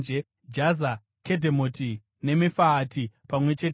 Kedhemoti neMefaati pamwe chete namafuro awo;